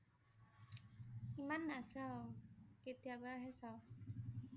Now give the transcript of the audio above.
ইমান নাচাও, কেতিয়াবাহে চাও